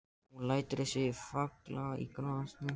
Hún lætur sig falla í grasið.